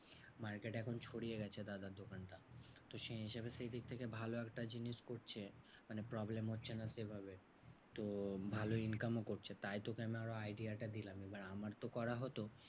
market এখন ছড়িয়ে গেছে দাদার দোকানটা। তো সেই হিসেবে সেই দিক থেকে ভালো একটা জিনিস করছে মানে problem হচ্ছে না সেভাবে। তো ভালো income ও করছে তাই তোকে আমি আরও idea টা দিলাম। এবার আমারতো করা হতো